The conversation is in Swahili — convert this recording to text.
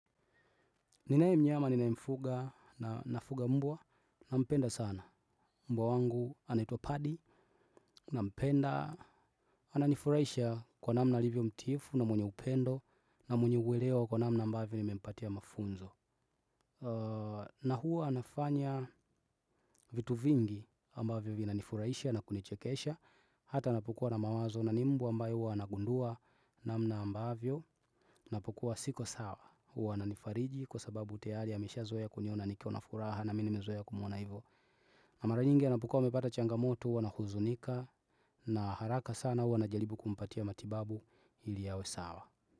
Ninaye mnyama ninayemfuga na nafuga mbwa nampenda sana mbwa wangu anaitwa padi nampenda ananifuraisha kwa namna alivyyo mtiifu na mwenye upendo na mwenye uelewa kwa namna ambavyo nimempatia mafunzo. Na huwa anafanya vitu vingi ambavyo vina nifuraisha na kunichekesha hata napokua na mawazo na ni mbwa ambaye huwa anagundua namna ambavyo napokua siko sawa huwa ananifariji kwa sababu tayali amesha zoea kuniona nikiwa na furaha. Na mi nimezoea kumuona hivyo. Na mara nyingi anapokua amepata changamoto huwa nahuzunika. Na haraka sana uwa najalibu kumpatia matibabu ili awe sawa.